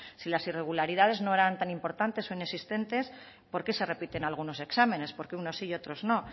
si las irregularidades no eran tan importantes o inexistentes por qué se repiten algunos exámenes por qué unos sí y otros no